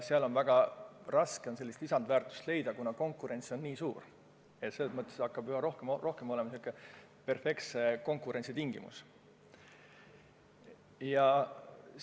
Siis on väga raske sellist lisandväärtust leida, kuna konkurents on nii suur, et see hakkab üha rohkem sarnanema perfektse konkurentsi tingimustega.